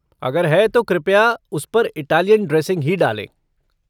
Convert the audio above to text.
अगर है तो कृपया उस पर इटालियन ड्रेसिंग ही डालें।